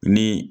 Ni